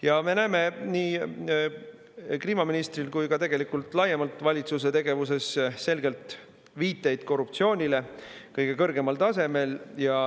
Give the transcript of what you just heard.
Ja me näeme nii kliimaministri kui ka tegelikult laiemalt valitsuse tegevuses selgelt viiteid korruptsioonile kõige kõrgemal tasemel.